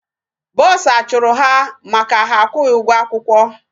Bursar chụrụ ha maka ha akwụghị ụgwọ akwụkwọ.